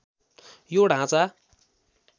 यो ढाँचा